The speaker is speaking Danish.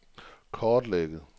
kortlægge